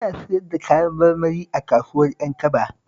Ina siyar da Kayan marmari a kasuwar Ƴankaba